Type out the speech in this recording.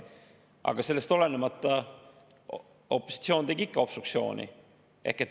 Aga sellest olenemata opositsioon tegi ikka obstruktsiooni.